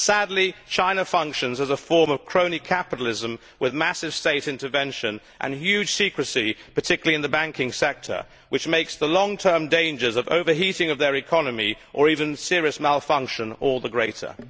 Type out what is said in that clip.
Sadly, China functions as a form of crony capitalism with massive state intervention and huge secrecy, particularly in the banking sector, which make the long term dangers of overheating of the economy, or even serious malfunction, all the greater.